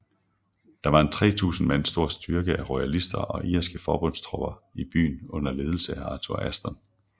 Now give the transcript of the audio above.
Der var en 3000 mand stor styrke af royalister og irske forbundstropper i byen under ledelse af Arthur Aston